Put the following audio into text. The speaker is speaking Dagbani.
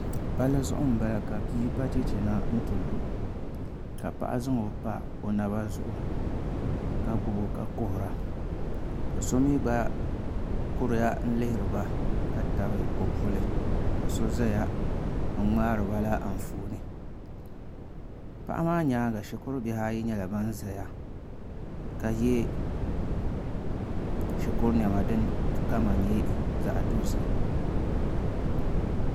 Palli zuɣu n bala ka bia ba chɛchɛ na n ti lu ka paɣa zaŋo pa o naba zuɣu ka gbubo ka kuhura ka so mii gba kuriya kihiri ba ka tabi o puli ka so ʒɛya n ŋmaariba la Anfooni paɣa maa nyaanga shikuru bihi ayi nyɛla ban ʒɛya ka yɛ shikuru niɛma din kama nyɛ zaɣ dozim